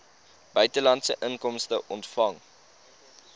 buitelandse inkomste ontvang